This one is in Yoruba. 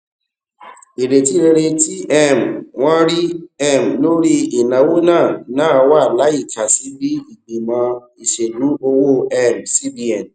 ìrètí rere tí um wọn rí um lórí ìnáwó náà náà wà láìka sí bí ìgbìmọ ìṣèlú owó um cbn